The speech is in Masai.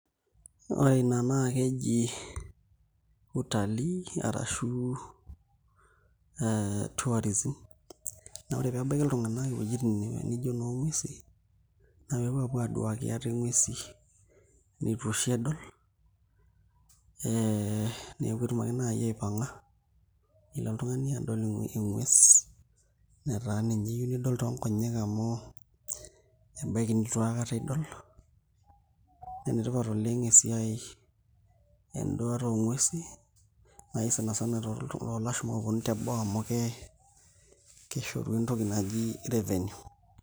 Ore ina naa keji utalii arashu tourism naa ore pee ebaiki iltung'anak iwuejitin nijio inoonguesin naa pee epuo aaduaki ate nguesi nitu oshi edol ee neeku etum ake naai apang'a nelo oltung'ani adol engues netaa ninye iyieu nidol toonkonyek amu ebaiki nitu aikata idol, enetipat oleng' esiai enduata oonguesi naai sana sana toolashumba ooponu teboo amu keshoru entoki naji revenue.